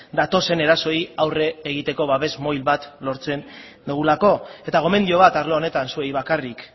datozen erasoei aurre egiteko babes bat lortzen dugulako eta gomendio bat arlo honetan zuei bakarrik